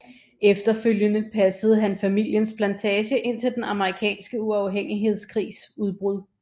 Efterfølgende passede han familiens plantage indtil den Amerikanske uafhængighedskrigs udbrud